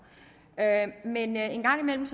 men en gang imellem